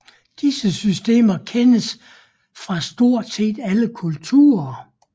Disse systemer kendes fra stort set alle kulturer